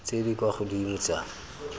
tse di kwa godimo tsa